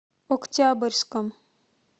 октябрьском